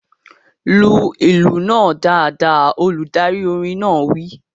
Lu ìlù náà dáadáa! Olùdarí orin náà wí